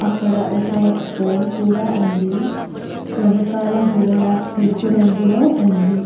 అక్కడ ఒక ఫోన్ కూడా ఉంది వెనకాల గోడ తెలుపు రంగులో ఉంది.